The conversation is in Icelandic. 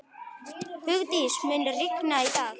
Hugdís, mun rigna í dag?